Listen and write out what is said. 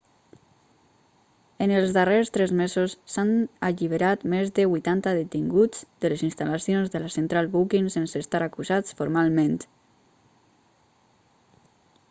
en els darrers tres mesos s'han alliberat més de 80 detinguts de les instal·lacions de la central booking sense estar acusats formalment